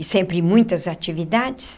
E sempre muitas atividades.